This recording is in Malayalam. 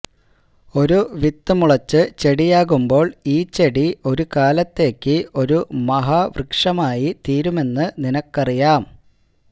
ഒരു വിത്ത് മുളച്ച് ചെടിയാകുമ്പോള് ഈ ചെടി ഒരുകാലത്തേക്ക് ഒരു മഹാവൃക്ഷമായി തീരുമെന്ന് നിനക്കറിയാം